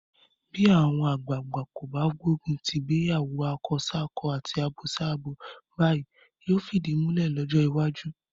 Bí àwọn àgbàagbà kò bá gbógun ti ìgbéyàwó akọsákọ àti abosábo báyìí, yóò fìdí múlẹ̀ lọ́jọ́ iwájú.